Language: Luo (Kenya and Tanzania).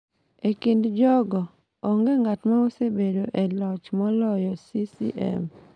E kind jogo, onge ng’at ma osebedo e loch moloyo CCM.